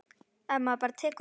Ef maður bara tekur á.